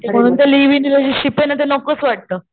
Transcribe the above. म्हणून living relationship ना ते नकोच वाटत.